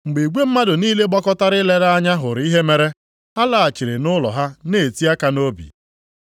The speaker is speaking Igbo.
Mgbe igwe mmadụ niile gbakọtara ilere anya hụrụ ihe mere, ha laghachiri nʼụlọ ha na-eti aka nʼobi.